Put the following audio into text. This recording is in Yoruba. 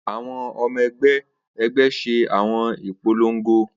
Awọn ọmọ ẹgbẹ ẹgbẹ ṣe awọn ipolongo